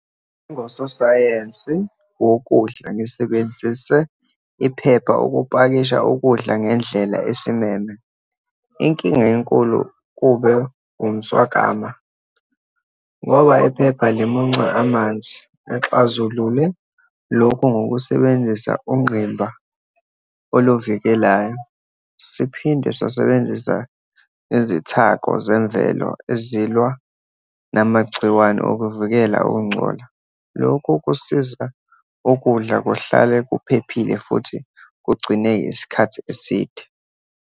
Ngososayensi wokudla, ngisebenzise iphepha ukupakisha ukudla ngendlela esimeme. Inkinga enkulu kube umswakama, ngoba iphepha limunca amanzi. Ngixazulule lokhu, ngokusebenzisa ungqimba oluvikelayo, siphinde sasebenzisa nezithako zemvelo ezilwa namagciwane ukuvikela ukungcola. Lokhu kusiza ukudla kuhlale kuphephile, futhi kugcineke isikhathi eside.